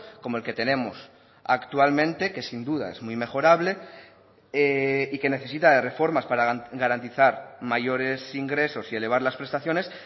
como el que tenemos actualmente que sin duda es muy mejorable y que necesita de reformas para garantizar mayores ingresos y elevar las prestaciones